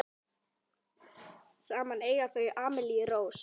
Saman eiga þau Amelíu Rós.